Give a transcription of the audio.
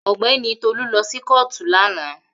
Ogbeni Tolu lo si kootu lana.